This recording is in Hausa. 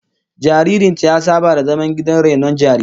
Jaririn ta ya saba da zaman gidan rainon jarirai